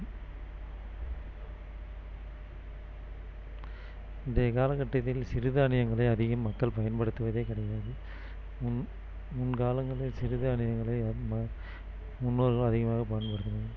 இன்றைய கால கட்டத்தில் சிறுதானியங்களை அதிகம் மக்கள் பயன்படுத்துவதே கிடையாது முன்~முன்காலங்களில் சிறுதானியங்களை ம~முன்னோர்கள் அதிகமாக பயன்படுத்தினார்கள்